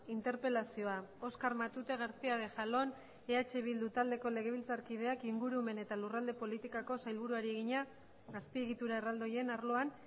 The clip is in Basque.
interpelazioa oskar matute garcía de jalón eh bildu taldeko legebiltzarkideak ingurumen eta lurralde politikako sailburuari egina azpiegitura erraldoien arloan